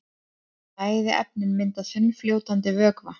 Bæði efnin mynda þunnfljótandi vökva.